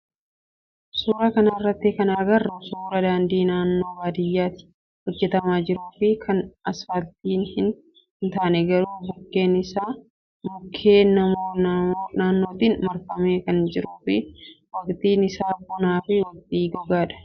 Suuraa kanarraa kan agarru suuraa daandii naannoo baadiyyaatti hojjatamaa jiruu fi kan asfaaltii hin taane garuu bukkeen isaa mukkeen naannootiin marfamee kan jiruu fi waqtiin isaa bonaa fi waqtii gogaadha.